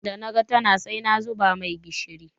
Da naga tana sai na zuba mai gishiri.